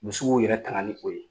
Musow yɛrɛ taŋani ko ye